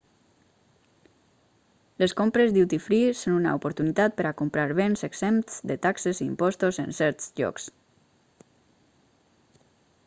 les compres duty free són una oportunitat per a comprar béns exempts de taxes i impostos en certs llocs